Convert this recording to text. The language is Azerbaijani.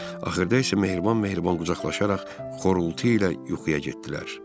Axırda isə mehriban-mehriban qucaqlaşaraq xorultu ilə yuxuya getdilər.